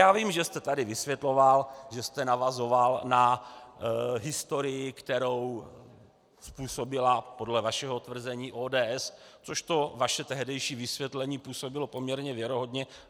Já vím, že jste tady vysvětloval, že jste navazoval na historii, kterou způsobila podle vašeho tvrzení ODS, což to vaše tehdejší vysvětlení působilo poměrně věrohodně.